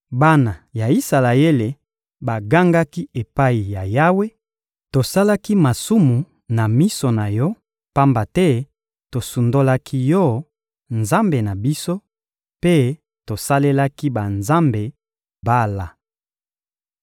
Bana ya Isalaele bagangaki epai ya Yawe: — Tosalaki masumu na miso na Yo, pamba te tosundolaki Yo, Nzambe na biso, mpe tosalelaki banzambe Bala.